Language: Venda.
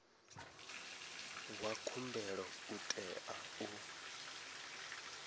wa khumbelo u tea u